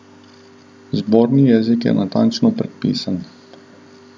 Zborni jezik je natančno predpisan.